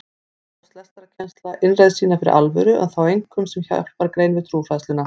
Þá hóf lestrarkennsla innreið sína fyrir alvöru en þá einkum sem hjálpargrein við trúfræðsluna.